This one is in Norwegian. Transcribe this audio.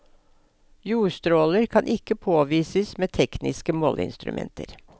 Jordstråler kan ikke påvises med tekniske måleinstrumenter.